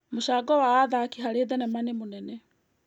Mũcango wa athaki harĩ thenema nĩ mũnene.